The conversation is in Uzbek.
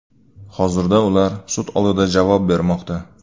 Hozirda ular sud oldida javob bermoqda.